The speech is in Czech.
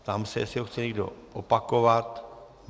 Ptám se, jestli ho chce někdo opakovat.